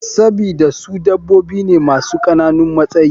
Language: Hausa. Sabida su dabobi ne masu kananun matsayi.